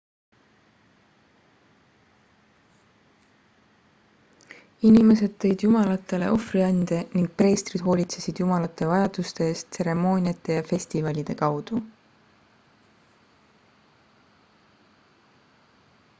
inimesed tõid jumalatele ohvriande ning preestrid hoolitsesid jumalate vajaduste eest tseremooniate ja festivalide kaudu